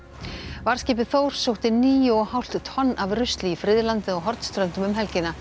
varðskipið Þór sótti níu og hálft tonn af rusli í friðlandið á Hornströndum um helgina